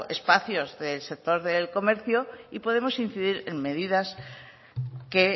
espacios del sector del comercio y podemos incidir en medidas que